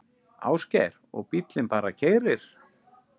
Ásgeir: Og bíllinn bara keyrir?